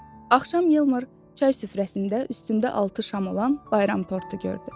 Axşam Yeldar çay süfrəsində üstündə altı şam olan bayram tortu gördü.